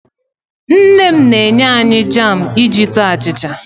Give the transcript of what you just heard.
Nne m na-enye anyị jaam iji taa achịcha.